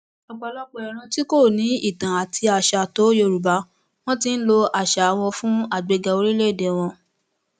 ọpọlọpọ ìran tí kò ní ìtàn àti àṣà tó yorùbá wọn ti ń lo àṣà wọn fún àgbéga orílẹèdè wọn